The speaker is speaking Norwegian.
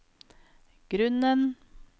grunnen